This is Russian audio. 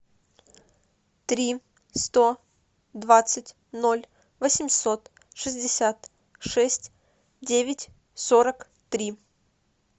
три сто двадцать ноль восемьсот шестьдесят шесть девять сорок три